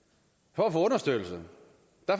for at få understøttelse